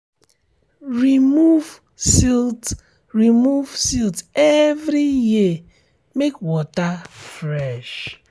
remove silt remove silt every year make water fresh